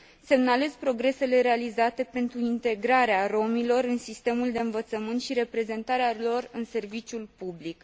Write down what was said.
Semnalez progresele realizate pentru integrarea romilor în sistemul de învățământ și reprezentarea lor în serviciul public.